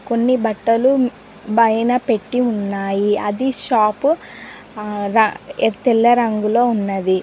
కొన్ని బట్టలు బైన పెట్టి ఉన్నాయి అది షాపు తెల్ల రంగులో ఉన్నది.